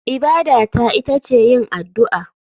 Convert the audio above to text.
Ibada ta ita ce yin addu'a.